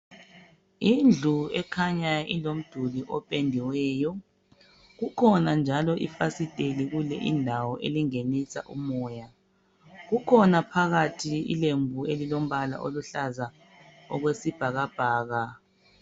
Indlu ekhanya ilomduli opediweyo kukhona njalo ifasitela kule indawo elingenisa umoya kukhona phakathi ilembu elilombala oluhlaza okwesibhakabhaka.